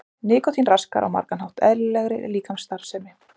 nikótín raskar á margan hátt eðlilegri líkamsstarfsemi